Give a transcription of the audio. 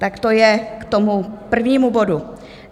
Tak to je k tomu prvnímu bodu.